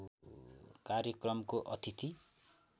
कार्यक्रमको अतिथि